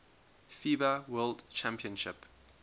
fiba world championship